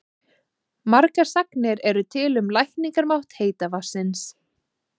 Margar sagnir eru til um lækningamátt heita vatnsins.